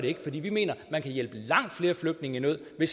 ikke for vi mener at man kan hjælpe langt flere flygtninge i nød ved